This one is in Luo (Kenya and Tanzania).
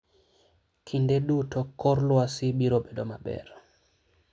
Kinde duto kor lwasi biro bedo maber.